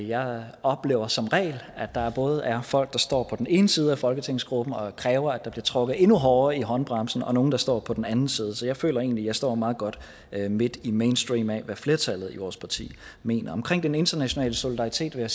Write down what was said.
jeg oplever som regel at der både er folk der står på den ene side af folketingsgruppen og kræver at der bliver trukket endnu hårdere i håndbremsen og nogle der står på den anden side så jeg føler egentlig at jeg står meget godt midt i mainstream af hvad flertallet i vores parti mener om den internationale solidaritet vil